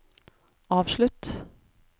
avslutt